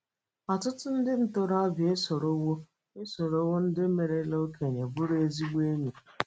Ọtụtụ ndị ntorobịa esorowo esorowo ndị merela okenye bụrụ ezigbo enyi